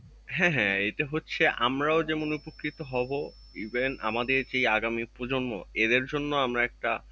হ্যাঁ হ্যাঁ এটা হচ্ছে আমরা যেমন উপকৃত হব। even আমাদের যে আগামী প্রজন্ম এদের জন্য আমরা একটা,